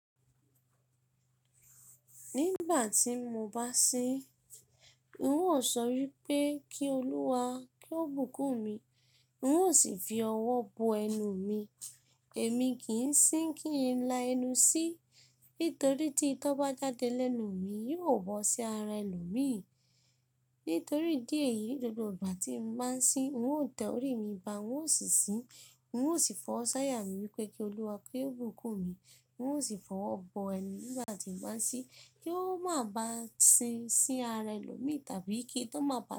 Nígbà tí mo bá sín, n óò sọ wípé kí Olúwa kí ó bùkún mi, n óò sì fi ọwọ́ bo ẹnu mi. Èmi kì ń sín kí n la ẹnu sí, nítorí tí ìtọ́ bá jáde lẹ́nu mi, yóò wọ̀ sí ara ẹlòmíì. Nítorí idí èyí, gbogbo ìgbà tí mo bá ń sín, n óò tẹ orí mi ba, n óò sì sín, n óò sì fowọ́ sóyà mí wípé kí Olúwa kí ó bùkún mi, n óò sì fọ́ ọwọ́ bo ẹnu nígbà tí mo bá ń sín kí ó máa bá sín sí ara ẹlòmíì tàbí kí ìtọ́ má bà á.